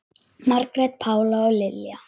Margrét Pála og Lilja.